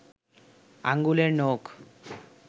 আঙুলের নখ